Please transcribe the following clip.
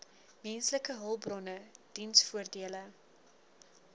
menslike hulpbronne diensvoordele